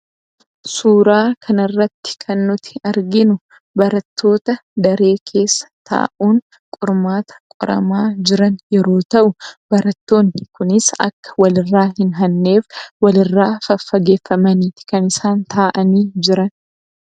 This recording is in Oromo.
Suuraa kanarratti kan nuti arginu barattoota daree keessa taa'uun qormaata qoramaa jiran yeroo ta'u, barattoonni kunis akka wal irraa hin hanneef walirraa faffageeffamanii kan isaan taa'anii jiran.